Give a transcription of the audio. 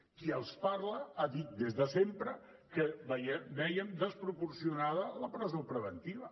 qui els parla ha dit des de sempre que vèiem desproporcionada la presó preventiva